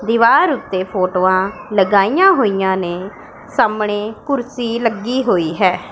ਦਿਵਾਰ ਓੱਤੇ ਫ਼ੋਟੋਆਂ ਲਗਾਈਆਂ ਹੋਇਆਂ ਨੇਂ ਸਾਹਮਣੇ ਕੁਰਸੀ ਲੱਗੀ ਹੋਈ ਹੈ।